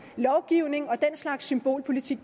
lovgivning og den slags symbolpolitik